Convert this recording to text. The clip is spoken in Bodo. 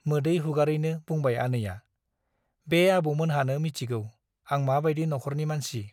मोदै हुगारैनो बुंबाय आनैया- बे आबौमोनहानो मिथिगौ , आं माबाइदि न'खरनि मानसि ।